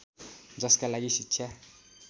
जसका लागि शिक्षा